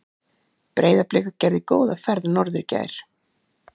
Breiðablik gerði góða ferð norður í gær.